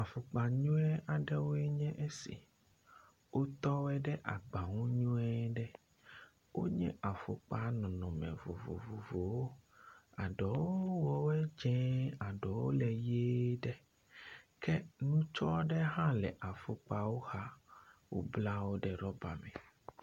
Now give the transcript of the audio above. Afɔkpa nyuie aɖewo nye esi wotɔ wo ɖe agba nu nyuie ɖe. Wonye afɔkpa nɔnɔme vovovovowo. Aɖewo le dzĩ, ɖewo ʋie ɖe ke ŋutsua aɖe hã le afɔkpawo xa, wobla wo ɖe rɔba.